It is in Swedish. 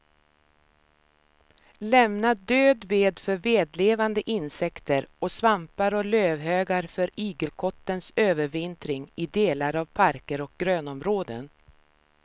Lämna död ved för vedlevande insekter och svampar och lövhögar för igelkottens övervintring i delar av parker och grönområden.